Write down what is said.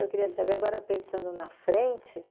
Eu queria saber, agora pensando na frente,